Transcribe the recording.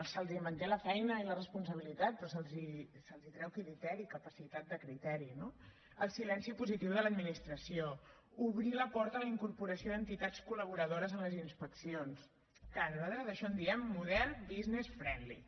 se’ls manté la feina i la responsabilitat però se’ls treu criteri capacitat de criteri no el silenci positiu de l’administració obrir la porta a la incorporació d’entitats col·laboradores en les inspeccions que nosaltres d’això en diem model business friendly